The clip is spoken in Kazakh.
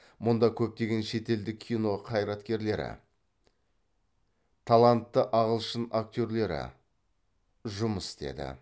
мұнда көптеген шетелдік кино қайраткерлері талантты ағылшын актерлері жұмыс істеді